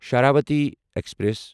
Sharavathi express